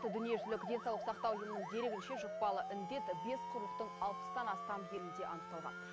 дүниежүзілік денсаулық сақтау ұйымының дерегінше жұқпалы індет бес құрлықтың алпыстан астам елінде анықталған